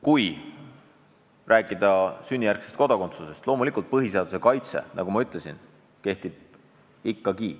Kui rääkida sünnijärgsest kodakondsusest, siis loomulikult põhiseaduse kaitse, nagu ma juba ütlesin, kehtib ikkagi.